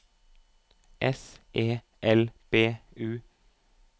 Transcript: S E L B U